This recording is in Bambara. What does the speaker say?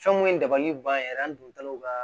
Fɛn mun ye dabali ban yɛrɛ ye an don taw ka